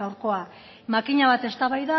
gaurkoa makina bat eztabaida